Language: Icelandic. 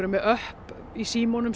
með öpp í símanum